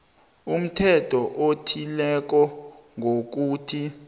umthetho othileko ngokuthi